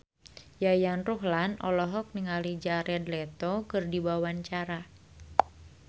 Yayan Ruhlan olohok ningali Jared Leto keur diwawancara